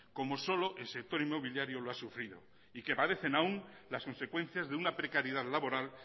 como solo el sector inmobiliario lo ha sufrido y que padecen aún las consecuencias de una precariedad laboral